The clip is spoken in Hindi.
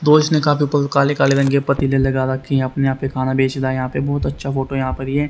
तो इसने काफी काले काले रंग के पतीले लगा रखे है अपने यहां पे खाना बेच रहा है यहां पे बहोत अच्छा फोटो है यहां पर ये --